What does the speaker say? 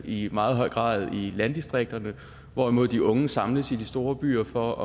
i meget høj grad bliver i landdistrikterne hvorimod de unge samles i de store byer for